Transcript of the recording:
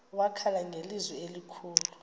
wakhala ngelizwi elikhulu